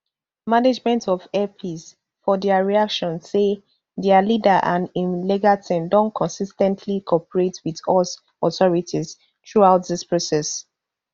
management of air peace for dia reaction say dia leader and im legal team don consis ten tly cooperate wit us authorities throughout dis process